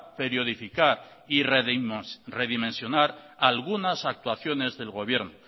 periodificar y redimensionar algunas actuaciones del gobierno